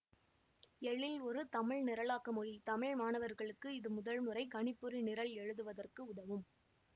எழில் ஒரு தமிழ் நிரலாக்க மொழி தமிழ் மாணவர்களுக்கு இது முதல் முறை கணிப்பொறி நிரல் எழுதுவதற்கு உதவும்